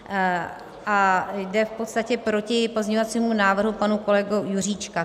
A jde v podstatě proti pozměňovacímu návrhu pana kolegy Juříčka.